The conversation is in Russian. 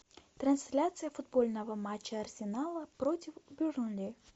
трансляция футбольного матча арсенала против бернли